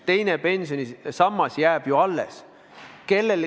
Teine pensionisammas jääb ju alles.